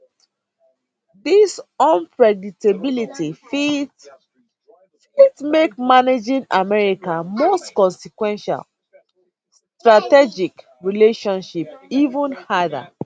dis unpredictability fit fit make managing america most consequential strategic relationship even harder